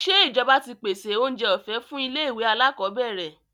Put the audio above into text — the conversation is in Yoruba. Ṣé ìjọba ti pèsèoúnjẹ ọ̀fẹ́ fún ilé-ìwé alákọọ́bẹ̀rẹ̀?